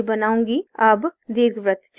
अब दीर्घवृत्त चुनें